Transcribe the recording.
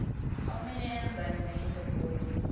how many enzymes are in the body